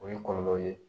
O ye kɔlɔlɔw ye